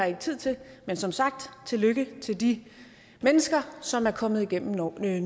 ikke tid til men som sagt tillykke til de mennesker som er kommet igennem nåleøjet